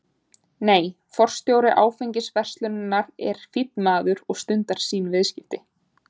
Nei, forstjóri áfengisverslunarinnar er fínn maður og stundar sín viðskipti.